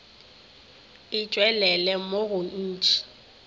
e tšwelele mo go ntši